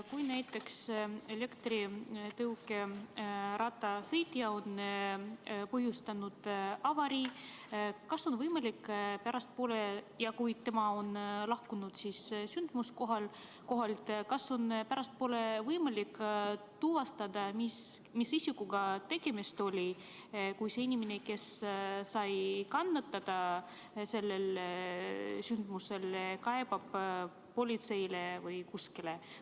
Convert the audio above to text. Kui näiteks elektritõukerattaga sõitja on põhjustanud avarii, siis kas on võimalik pärastpoole, kui ta on sündmuskohalt lahkunud, tuvastada, mis isikuga tegemist oli, kui see inimene, kes sai kannatada, kaebab näiteks politseisse?